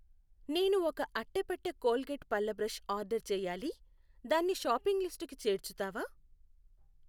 నేను ఒక అట్టపెట్టె కోల్గేట్ పళ్ల బ్రష్ ఆర్డర్ చేయాలి, దాన్ని షాపింగ్ లిస్టుకి చేర్చుతావా?